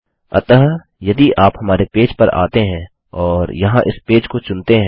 अतः यदि आप हमारे पेज पर आते हैं और यहाँ इस पेज को चुनते हैं